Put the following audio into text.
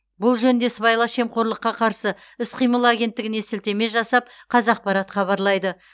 бұл жөнінде сыбайлас жемқорлыққа қарсы іс қимыл агенттігіне сілтеме жасап қазақпарат хабарлайды